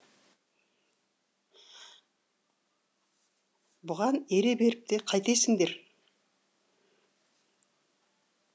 бұған ере беріп те қайтесіңдер